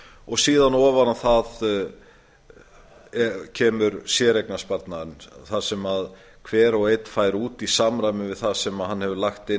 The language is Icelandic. og síðan ofan á það kemur séreignarsparnaðurinn þar sem hver og einn fær út í samræmi við það sem hann hefur lagt inn